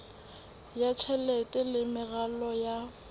ya tjhelete le meralo ya